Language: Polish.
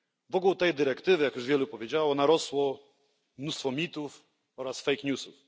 Wokół tej dyrektywy, jak już wielu powiedziało, narosło mnóstwo mitów oraz fake newsów.